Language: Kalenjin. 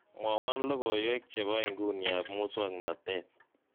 mwowon logoiwek chebo inguni ab musong'notet